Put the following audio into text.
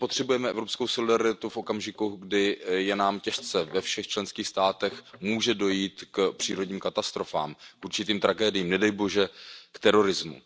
My potřebujeme evropskou solidaritu v okamžiku, kdy je nám těžce, ve všech členských státech, může dojít k přírodním katastrofám, určitým tragédiím, nedej bože k terorismu.